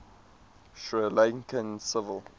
sri lankan civil